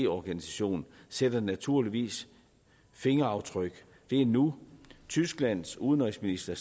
organisation sætter naturligvis fingeraftryk det er nu tysklands udenrigsminister